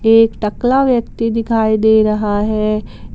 एक टकला व्यक्ति दिखाई दे रहा है।